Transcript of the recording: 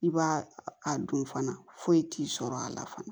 I b'a a dun fana foyi t'i sɔrɔ a la fana